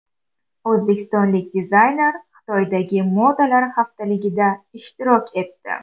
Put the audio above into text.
O‘zbekistonlik dizayner Xitoydagi modalar haftaligida ishtirok etdi .